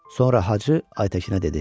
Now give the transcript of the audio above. Sonra Hacı Aytəkinə dedi: